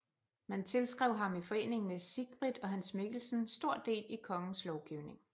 Man tilskrev ham i forening med Sigbrit og Hans Mikkelsen stor del i kongens lovgivning